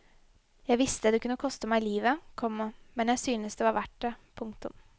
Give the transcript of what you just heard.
Jeg visste det kunne koste meg livet, komma men syntes det var verdt det. punktum